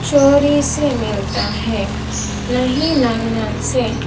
चोरी से मिलता है नहीं नल नल से--